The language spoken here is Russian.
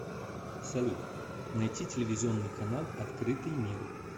салют найти телевизионный канал открытый мир